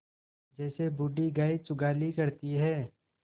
जैसे बूढ़ी गाय जुगाली करती है